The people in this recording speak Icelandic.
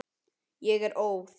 Ég er óð.